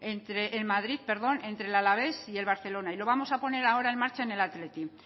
en madrid entre el alavés y el barcelona y lo vamos a poner ahora en marcha en el athletic